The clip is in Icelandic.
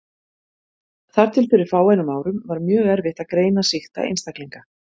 Þar til fyrir fáeinum árum var mjög erfitt að greina sýkta einstaklinga.